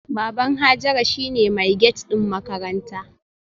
Baban Hajara shine mai gate din makaranta